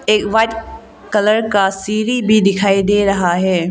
एक white colour का सीढ़ी भी दिखाई दे रहा है।